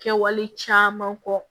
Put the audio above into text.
Kɛwale caman kɔ